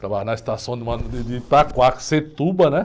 Ficava na estação de, né?